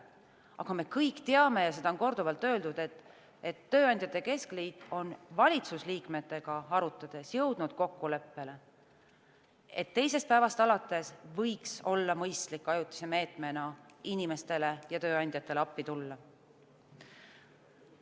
Aga me kõik teame ja seda on korduvalt öeldud, et tööandjate keskliit on valitsusliikmetega arutades jõudnud kokkuleppele, et võiks olla mõistlik ajutise meetmena teisest päevast alates inimestele ja tööandjatele appi tulla.